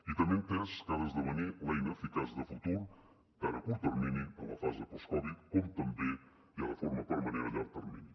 i també ha entès que ha d’esdevenir l’eina eficaç de futur tant a curt termini en la fase post covid dinou com també ja de forma permanent a llarg termini